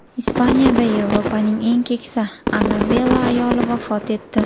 Ispaniyada Yevropaning eng keksa Ana Vela ayoli vafot etdi.